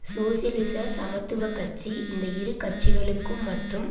சோசியலிச சமத்துவ கட்சி இந்த இரு கட்சிகளுக்கும் மற்றும்